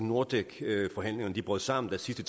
nordek forhandlingerne brød sammen sidst i